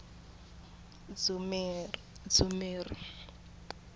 dzumeri